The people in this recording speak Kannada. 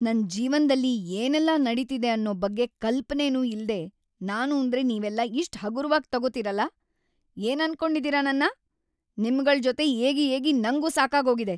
ನನ್‌ ಜೀವನ್ದಲ್ಲಿ ಏನೆಲ್ಲ ನಡೀತಿದೆ ಅನ್ನೋ ಬಗ್ಗೆ ಕಲ್ಪನೆನೂ ಇಲ್ದೇ ನಾನೂಂದ್ರೆ ನೀವೆಲ್ಲ ಇಷ್ಟ್‌ ಹಗುರ್ವಾಗ್‌ ತಗೋತೀರಲ, ‌ಏನನ್ಕೊಂಡಿದೀರ ನನ್ನ? ನಿಮ್ಗಳ್‌ ಜೊತೆ ಏಗಿ ಏಗಿ ನಂಗೂ ಸಾಕಾಗೋಗಿದೆ.